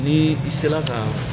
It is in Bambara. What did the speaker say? Ni i sera ka